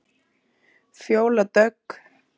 Fjóla Dögg.